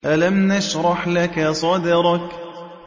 أَلَمْ نَشْرَحْ لَكَ صَدْرَكَ